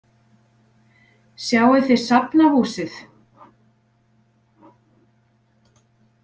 Sjáið þið Safnahúsið.